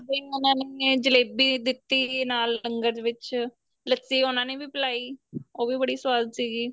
ਬਾਈ ਉਹਨਾ ਨੇ ਜਲੇਬੀ ਦਿੱਤੀ ਨਾਲ ਲੰਗਰ ਵਿੱਚ ਲੱਸੀ ਉਹਨਾ ਨੇ ਵੀ ਪਿਲਾਈ ਉਹ ਵੀ ਬੜੀ ਸਵਾਦ ਸੀਗੀ